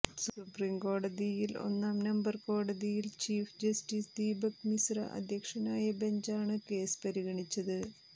സുപ്രീംകോടതിയിൽ ഒന്നാം നമ്പർ കോടതിയിൽ ചീഫ് ജസ്റ്റിസ് ദീപക് മിശ്ര അധ്യക്ഷനായ ബെഞ്ചാണ് കേസ് പരിഗണിച്ചത്